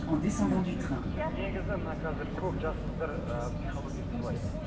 негізі мына қазір көп жас қыздар ы психологиясы былай